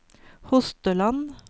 Hosteland